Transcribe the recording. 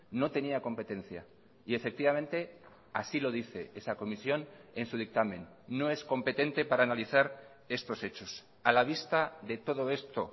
no tenía competencia y efectivamente así lo dice esa comisión en su dictamen no es competente para analizar estos hechos a la vista de todo esto